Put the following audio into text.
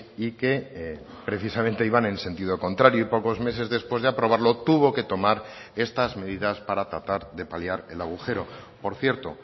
y que precisamente iban en sentido contrario y pocos meses después de aprobarlo tuvo que tomar estas medidas para tratar de paliar el agujero por cierto